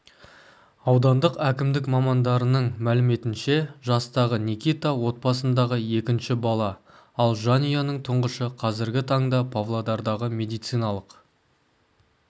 аудандық әкімдік мамандарының мәліметінше жастағы никита отбасындағы екінші бала ал жанұяның тұңғышы қазіргі таңда павлодардағы медициналық